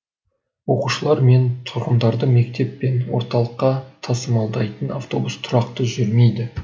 оқушылар мен тұрғындарды мектеп пен орталыққа тасымалдайтын автобус тұрақты жүрмейді